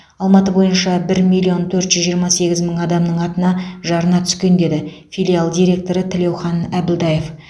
алматы бойынша бір миллион төрт жүз жиырма сегіз мың адамның атына жарна түскен деді филиал директоры тілеухан әбілдаев